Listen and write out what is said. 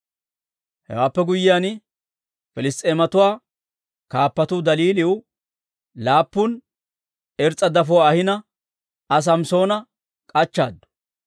Hewaappe guyyiyaan, Piliss's'eematuwaa kaappatuu Daliiliw laappun irs's'a dafotuwaa ahina Aa Samssoona k'achchaaddu.